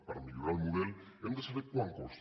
per millorar el model hem de saber quant costa